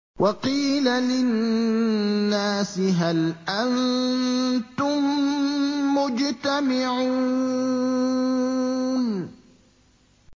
وَقِيلَ لِلنَّاسِ هَلْ أَنتُم مُّجْتَمِعُونَ